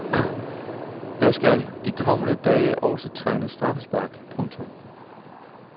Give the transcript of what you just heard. Der skal de kommende dage også trænes straffespark. punktum